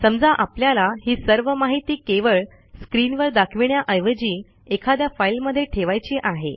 समजा आपल्याला ही सर्व माहिती केवळ स्क्रीनवर दाखविण्याऐवजी एखाद्या फाईलमध्ये ठेवायची आहे